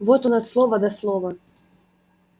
вот он от слова до слова